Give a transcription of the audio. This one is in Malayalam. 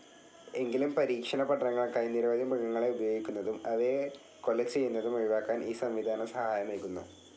എങ്കിലും പരീക്ഷണ പഠനങ്ങൾക്കായി നിരവധി മൃഗങ്ങളെ ഉപയോഗിക്കുന്നതും അവയെ കൊലചെയ്യുന്നതും ഒഴിവാക്കാൻ ഈ സംവിധാനം സഹായമേകുന്നു.